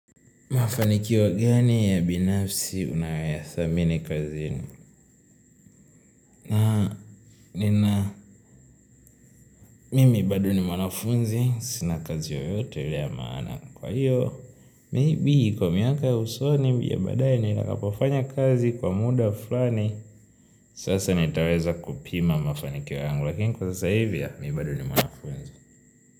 Mafanikio gani ya binafsi unayoyathamini ka zini nina mimi bado ni mwanafunzi sinakazi yoyote ile ya maana kwa hiyo maybe kwa miaka usoni bi ya baadai ni takapofanya kazi kwa muda fulani sasa nitaweza kupima mafanikio yangu lakini kwa sasa hivya mibado ni mwanafunzi.